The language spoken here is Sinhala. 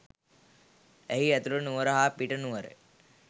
එහි ඇතුළු නුවර හා පිට නුවර